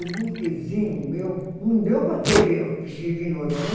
O burquezinho meu não deu para ter ve vestido de noiva, né?